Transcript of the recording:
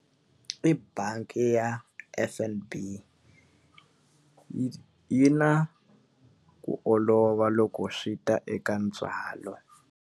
I bangi ya F_N_B yi na ku olova loko swi ta eka ntswalo.